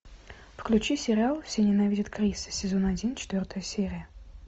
включи сериал все ненавидят криса сезон один четвертая серия